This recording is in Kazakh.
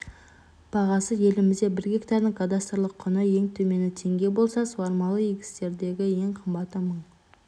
бағасы елімізде бір гектардың кадастрлық құны ең төмені теңге болса суармалы егістердегі ең қымбаты мың